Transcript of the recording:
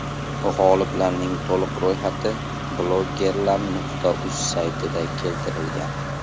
G‘oliblarning to‘liq ro‘yxati bloggerlar.uz saytida keltirilgan.